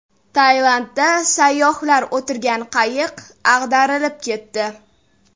Tailandda sayyohlar o‘tirgan qayiq ag‘darilib ketdi.